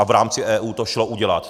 A v rámci EU to šlo udělat.